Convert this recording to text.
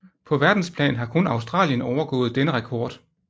På verdensplan har kun Australien overgået denne rekord